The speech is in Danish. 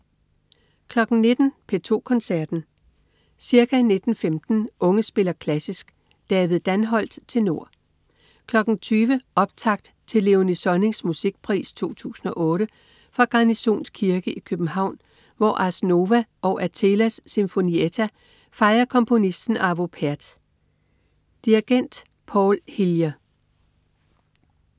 19.00 P2 Koncerten. Ca. 19.15 Unge spiller klassisk. David Danholt, tenor. 20.00 Optakt til Léonie Sonnings Musikpris 2008 fra Garnisons Kirke i København, hvor Ars Nova og Athelas Sinfonietta fejrer komponisten Arvo Pärt. Dirigent: Paul Hillier